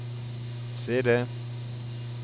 CD